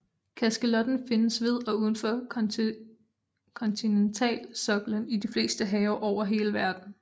Kaskelotten findes ved og udenfor kontinentalsoklen i de fleste have over hele verden